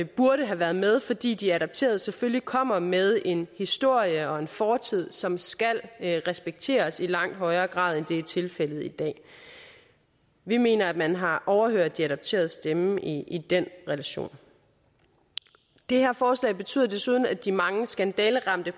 burde have været med fordi de adopterede selvfølgelig kommer med en historie og en fortid som skal respekteres i langt højere grad end det er tilfældet i dag vi mener at man har overhørt de adopteredes stemme i den relation det her forslag betyder desuden at de mange skandaleramte